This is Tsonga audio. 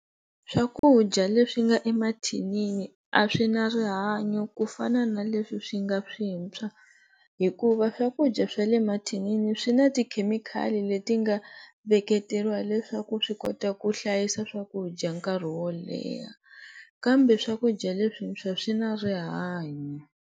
Swakudya leswi nga emathinini a swi na rihanyo ku fana na leswi swi nga swintshwa hikuva swakudya swa le mathinini swi na ti-chemical leti nga veketeriwa leswaku swi kota ku hlayisa swakudya nkarhi wo leha kambe swakudya leswintshwa swi na rihanyo.